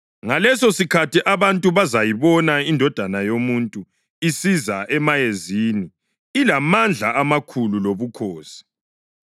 Ngalesosikhathi abantu bazayibona iNdodana yoMuntu isiza emayezini ilamandla amakhulu lobukhosi.